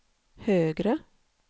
högre